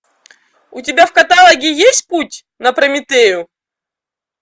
у тебя в каталоге есть путь на прометею